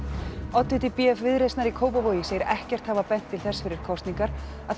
oddviti b f Viðreisnar í Kópavogi segir ekkert hafa bent til þess fyrir kosningar að